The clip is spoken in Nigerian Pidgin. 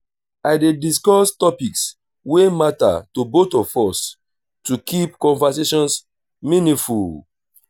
i dey discuss topics wey matter to both of us to keep conversations meaningful.